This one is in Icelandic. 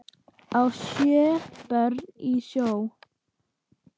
á sjö börn í sjó